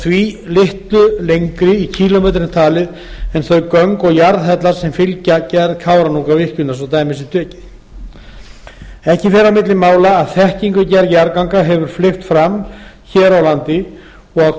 því litlu lengri í kílómetrum talið en þau göng og jarðhellar sem fylgja gerð kárahnjúkavirkjunar ekki fer á milli mála að þekkingu við gerð jarðganga hefur fleygt fram hér á landi og að